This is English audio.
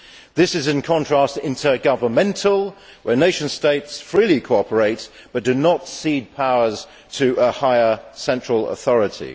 This is in contrast to intergovernmental, where nation states freely cooperate, but do not cede powers to a higher central authority.